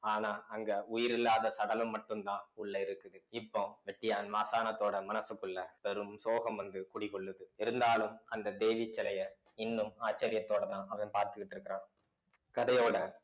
ஆனா அங்க உயிரில்லாத சடலம் மட்டும்தான் உள்ள இருக்குது இப்போ வெட்டியான் மாசணத்தோட மனசுக்குள்ள பெரும் சோகம் வந்து குடிகொள்ளுது இருந்தாலும் அந்த தேவி சிலைய இன்னும் ஆச்சரியத்தோடதான் அவன் பார்த்துக்கிட்டு இருக்கிறான் கதையோட